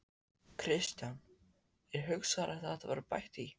Kristján: Er hugsanlegt að það verði bætt í?